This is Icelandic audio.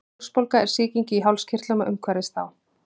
hálsbólga er sýking í hálskirtlum og umhverfis þá